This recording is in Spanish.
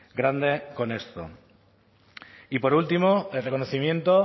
grande con esto y por último el reconocimiento